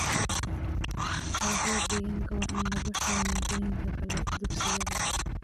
Waxbarashada deegaanka waa in lagu xiro maadooyin kale dugsiyada.